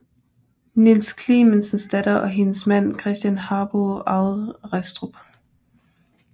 Niels Clementsens datter og hendes mand Christen Harbou arvede Restrup